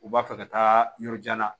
U b'a fɛ ka taa yɔrɔ jan na